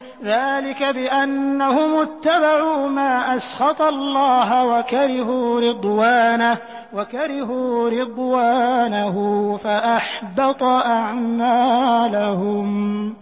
ذَٰلِكَ بِأَنَّهُمُ اتَّبَعُوا مَا أَسْخَطَ اللَّهَ وَكَرِهُوا رِضْوَانَهُ فَأَحْبَطَ أَعْمَالَهُمْ